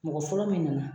Mɔgɔ fɔlɔ min nana